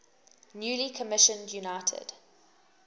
newly commissioned united